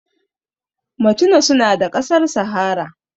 Machina suna da ƙasar sahara